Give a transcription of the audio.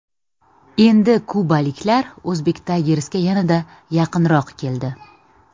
Endi kubaliklar Uzbek Tigers’ga yanada yaqinroq keldi.